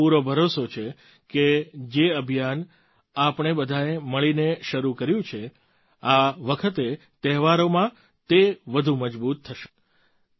મને પૂરો ભરોસો છેકે જે અભિયાન આપણે બધાંએ મળીને શરૂ કર્યું છે આ વખતે તહેવારોમાં તે વધુ મજબૂત થસે